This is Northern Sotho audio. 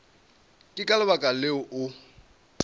ke ka lebaka leo o